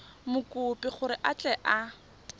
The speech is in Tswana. mokopi gore a tle a